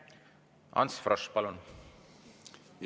Ants Frosch, palun!